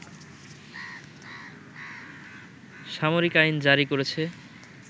সামরিক আইন জারি করেছে